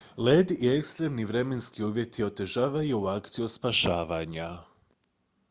led i ekstremni vremenski uvjeti otežavaju akciju spašavanja